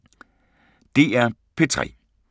DR P3